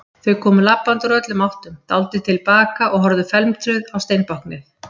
Þau komu labbandi úr öllum áttum, dáldið til baka og horfðu felmtruð á steinbáknið.